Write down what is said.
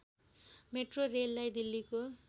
metro रेललाई दिल्लीको